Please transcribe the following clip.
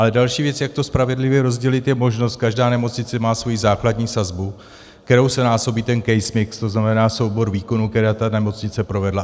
Ale další věc, jak to spravedlivě rozdělit, je možnost - každá nemocnice má svoji základní sazbu, kterou se násobí ten case mix, to znamená soubor výkonů, která ta nemocnice provedla.